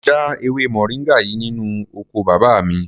Mo já ewé moringa yìí nínú oko bàbá mi.